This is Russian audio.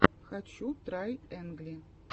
хочу трайэнгли